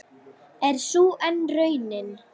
Er sú enn raunin?